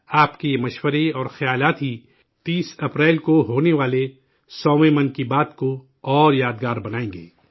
آپ کے یہ مشورے اور خیالات ہی 30 اپریل کو ہونے والے سوویں 100ویں 'من کی بات' کو اور یادگار بنائیں گے